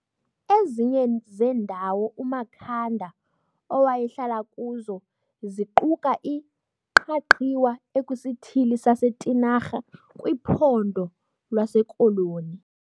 Ezinye zendawo uMakhanda owayehlala kuzo ziquka iQhaqhiwa ekwisithili saseTinarha kwiPhondo lwaseKoloni.